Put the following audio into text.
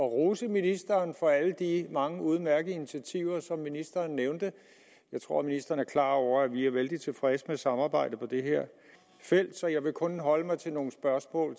rose ministeren for alle de mange udmærkede initiativer som ministeren nævnte jeg tror ministeren er klar over at vi er vældig tilfredse med samarbejdet på det her felt så jeg vil kun holde mig til nogle spørgsmål